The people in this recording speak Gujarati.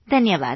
ધન્યવાદ